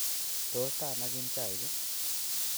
Tos ta anagin chaik ii?